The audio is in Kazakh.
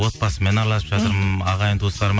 отбасымен араласып жатырмын ағайын туыстарыма